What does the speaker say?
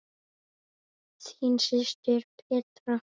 Þín systir, Petra.